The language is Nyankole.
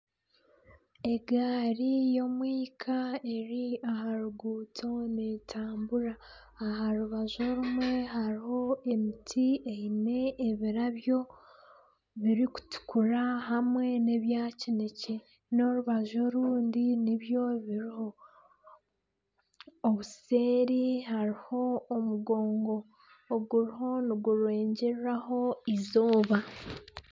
Egaari y'omwika eri aha ruguuto netambura aha rubaju rumwe hariho emiti eine ebirabyo birikutukura hamwe nebya kinekye n'orubaju orundi nibyo biriho obuseeri hariho omugongo oguriho niguregyereraho eizooba.